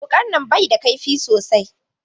Wuƙan nan bai da ƙaifi sosai.